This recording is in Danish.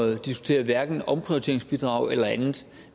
at diskutere hverken omprioriteringsbidrag eller andet